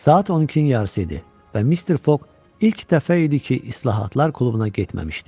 Saat 12-nin yarısı idi və Mister Fog ilk dəfə idi ki, islahatlar klubuna getməmişdi.